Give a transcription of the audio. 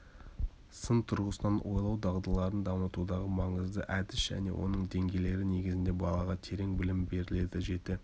сын тұрғысынан ойлау дағдыларын дамытудағы маңызды әдіс және оның деңгейлері негізінде балаға терең білім беріледі жеті